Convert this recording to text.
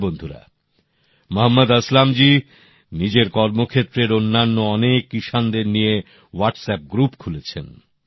হ্যাঁ বন্ধুরা মহম্মদ আসলাম জী নিজের কর্মক্ষেত্রের অন্যান্য অনেক কৃষকদের নিয়ে হোয়াটসঅ্যাপ গ্রুপ খুলেছেন